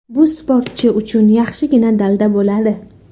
Bu sportchi uchun yaxshigina dalda bo‘ladi.